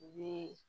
U bɛ